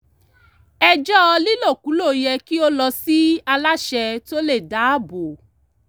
ẹjọ́ lílòkulò yẹ kí ó lọ sí aláṣẹ tó le dáàbò